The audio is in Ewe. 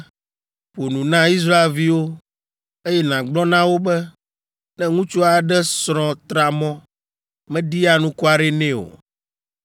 “Ƒo nu na Israelviwo, eye nàgblɔ na wo be, ‘Ne ŋutsu aɖe srɔ̃ tra mɔ, meɖi anukware nɛ o,